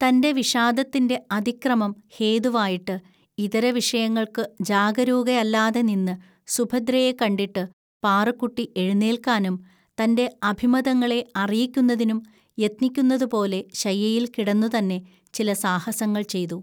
തൻ്റെ വിഷാദത്തിന്റെ അതിക്രമം ഹേതുവായിട്ട് ഇതര വിഷയങ്ങൾക്ക് ജാഗരൂകയല്ലാതെ നിന്ന് സുഭദ്രയെ കണ്ടിട്ട് പാറുക്കുട്ടി എഴുന്നേൽക്കാനും തന്റെ അഭിമതങ്ങളെ അറിയിക്കുന്നതിനും യത്‌നിക്കുന്നതുപോലെ ശയ്യയിൽ കിടന്നുതന്നെ ചില സാഹസങ്ങൾ ചെയ്തു.